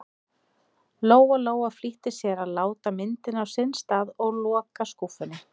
Lóa-Lóa flýtti sér að láta myndina á sinn stað og loka skúffunni.